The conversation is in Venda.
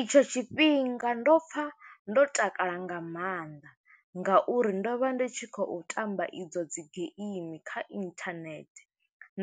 I tsho tshifhinga ndo pfa ndo takala nga maanḓa, nga uri ndo vha ndi tshi khou tamba i dzo dzi game kha internet,